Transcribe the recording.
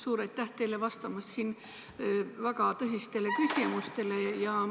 Suur aitäh teile vastamast väga tõsistele küsimustele!